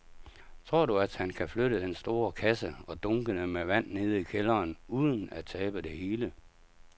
Tror du, at han kan flytte den store kasse og dunkene med vand ned i kælderen uden at tabe det hele?